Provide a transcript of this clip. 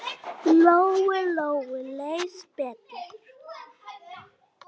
Lóu-Lóu leið betur.